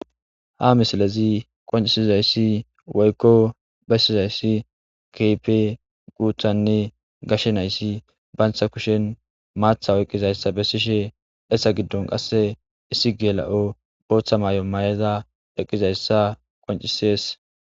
ha misilezi qoncisizayssi woykko bessizayssi kehipe guuthanne gashenayssi bantha kushen maatha oyqqizayssa bessishe essa giddon qasse issi geela'o booththa maayo ma'eza eqqizayssa qoncisees